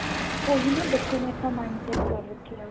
ਉਹੀ ਨਾ ਬੱਚੇ ਨੇ ਤਾਂ mind set ਕਰ ਰੱਖਿਆ